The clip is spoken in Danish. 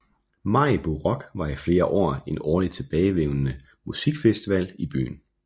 Maribo Rock var i flere år en årligt tilbagevendende musikfestival i byen